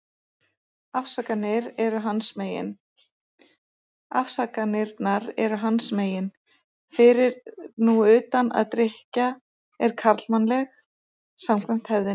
Afsakanirnar eru hans megin, fyrir nú utan að drykkja er karlmannleg, samkvæmt hefðinni.